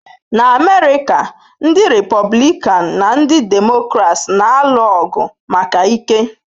Na America, ndị Republican na ndị Democrats na-alụ ọgụ maka ike.